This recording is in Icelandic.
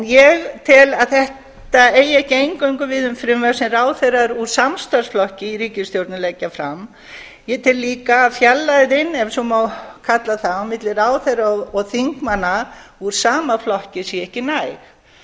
ég tel að þetta eigi ekki eingöngu við um frumvörp sem ráðherrar úr samstarfsflokki í ríkisstjórnum leggja fram ég tel líka að fjarlægðin ef svo má kalla það á milli ráðherra og þingmanna úr sama flokki sé ekki næg